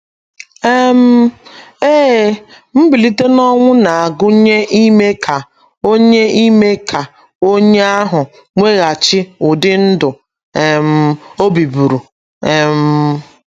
um Ee, mbilite n’ọnwụ na - agụnye ime ka onye ime ka onye ahụ nweghachi ụdị ndụ um o biburu um.